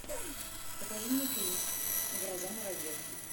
покажи мне фильм гроза муравьев